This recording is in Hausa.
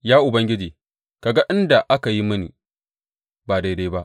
Ya Ubangiji, ka ga inda aka yi mini ba daidai ba.